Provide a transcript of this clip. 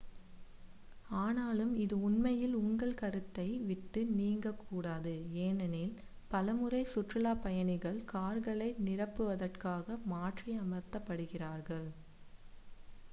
ஆனாலும் இது உண்மையில் உங்கள் கருத்தை விட்டு நீங்கக் கூடாது ஏனெனில் பலமுறை சுற்றுலாப் பயணிகள் கார்களை நிரப்புவதற்காக மாற்றி அமர்த்தப்படுகிறார்கள்